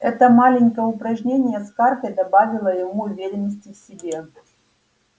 это маленькое упражнение с картой добавило ему уверенности в себе